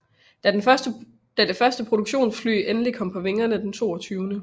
Da de første produktionsfly endelig kom på vingerne den 22